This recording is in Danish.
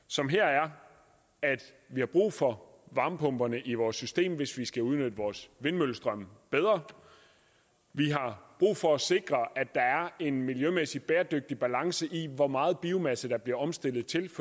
som her er at vi har brug for varmepumperne i vores system hvis vi skal udnytte vores vindmøllestrøm bedre vi har brug for at sikre at der er en miljømæssigt bæredygtig balance i hvor meget biomasse der bliver omstillet til